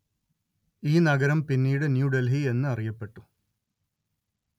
ഈ നഗരം പിന്നീട് ന്യൂ ഡെല്‍ഹി എന്ന് അറിയപ്പെട്ടു